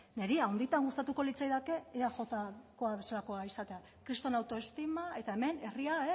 niri handitan gustatuko litzaidake eajko bezalakoa izatea kriston autoestima eta hemen herria